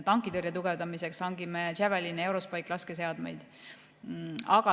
Tankitõrje tugevdamiseks hangime Javeline ja EuroSpike-laskeseadmeid.